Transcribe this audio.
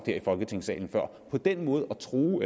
her i folketingssalen på den måde at true